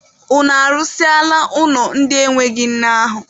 Unu arụsịala ụlọ ndị enweghị nne ahụ?